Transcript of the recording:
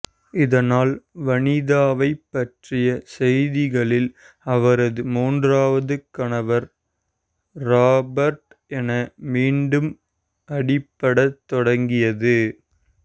இதனால் வனிதாவைப் பற்றிய செய்திகளில் அவரது மூன்றாவது கணவர் ராபர்ட் என மீண்டும் அடிபடத் தொடங்கியது